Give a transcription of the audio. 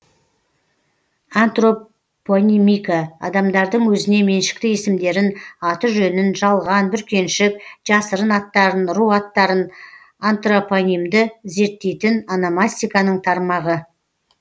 антропонимика адамдардың өзіне меншікті есімдерін аты жөнін жалған бүркеншік жасырын аттарын ру аттарын антропонимді зерттейтін ономастиканың тармағы